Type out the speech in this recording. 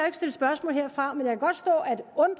ikke stille spørgsmål herfra men jeg kan godt stå